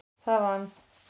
Það vann